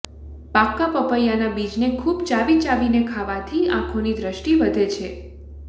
પાકા પોપૈયાના બીજને ખુબ ચાવી ચાવીને ખાવાથી આંખોની દ્રષ્ટિ વધે છે